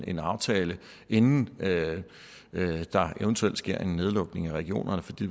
en aftale inden der eventuelt sker en nedlukning af regionerne fordi